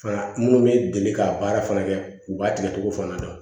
Fana minnu bɛ deli k'a baara fana kɛ u b'a tigɛcogo fana na